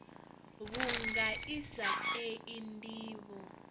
vhunga i sa tei ndivho